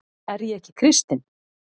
Er ég ekki kristinn?